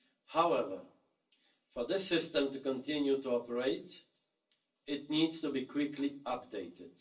However, for this system to continue to operate, it needs to be quickly updated.